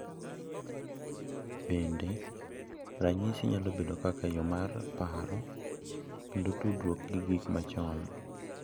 Bende, nyasi nyalo bedo kaka yo mar paro kendo tudruok gi gik machon.